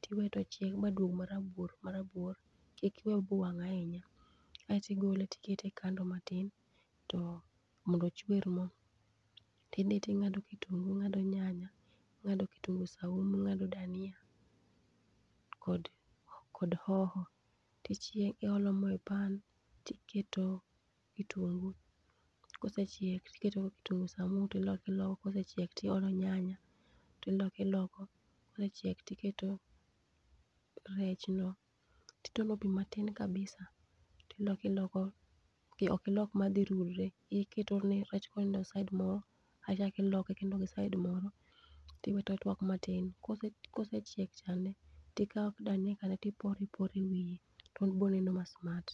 ti iwe ma chieg maduog ma rabuor ma trabuor kik iwe owang ahinya. Aito igole ti ikete kando matin mondo ochwer moo ti idhi ti ing'ado kitungu, ing'ado nyanaya, ing'ado kitungu saumu, ing'ado dania, kod hoho ti chiek ilo mo e pan toi iketo kitungu, kosechiek yti iketo kitungu saumu ti iloko iloko kosecheik ti iolo nyanay, ti iloko iloko kosechiek ti iketo rech no ti itono pe ma tin kabisa ti iloko iloko ok ilok ma dhi rudre, iketo ni rech ko onindo side moro achak iloko gi side moro ti we to ochwak ma tin kosechiek ti ikawo dani ti iporo iporo e wiye to biro neno ma smart.